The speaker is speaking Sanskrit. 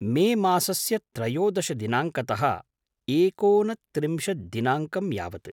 मेमासस्य त्रयोदशदिनाङ्कतः एकोनत्रिंशद्दिनाङ्कं यावत्।